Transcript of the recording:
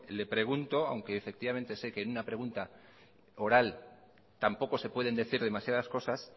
le pregunto aunque sé que en una pregunta oral tampoco se pueden decir demasiadas cosas